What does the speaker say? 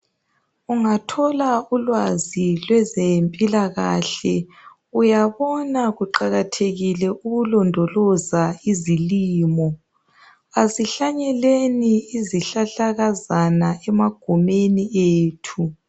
Ungathola ulwazi lwezempilakahle, uyabona kuqakathekile ukulondoloza izilimo. Kasihlanyeleni izihlahlakazana emagumeni ethu.